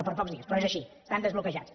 per pocs dies però és així estan desbloquejats